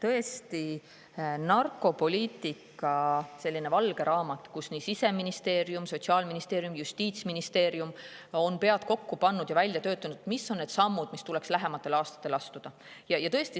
Meil on narkopoliitika valge raamat, mille puhul Siseministeerium, Sotsiaalministeerium ja Justiitsministeerium on pead kokku pannud ja välja töötanud sammud, mis tuleks lähematel aastatel astuda.